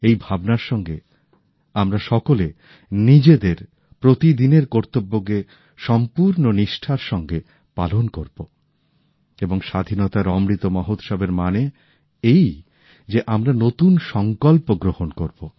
এই ভাবনার সঙ্গে আমরা সকলে নিজেদের প্রতিদিনের কর্তব্যকে সম্পূর্ণ নিষ্ঠার সঙ্গে পালন করব এবং স্বাধীনতার অমৃত মহোৎসবের মানে এই যে আমরা নতুন সংকল্প গ্রহণ করব